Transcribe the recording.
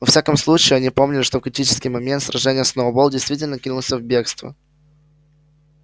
во всяком случае они помнили что в критический момент сражения сноуболл действительно кинулся в бегство